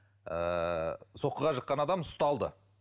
ыыы соққыға жыққан адам ұсталды